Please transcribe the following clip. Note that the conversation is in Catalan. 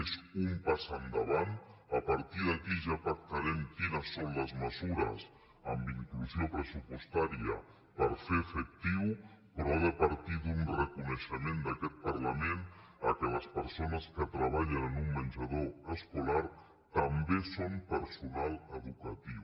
és un pas endavant a partir d’aquí ja pactarem quines són les mesures amb inclusió pressupostària per fer·ho efectiu però ha de partir d’un reconeixement d’aquest parlament que les persones que treballen en un menja·dor escolar també són personal educatiu